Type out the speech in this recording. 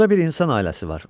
Burda bir insan ailəsi var.